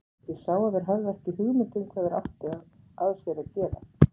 Ég sá að þeir höfðu ekki hugmynd um hvað þeir áttu af sér að gera.